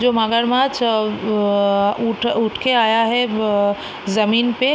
जो मगरमछ अ-अ उठ-उठ के आया है ब जमीन पे --